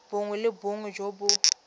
bongwe le bongwe jo bo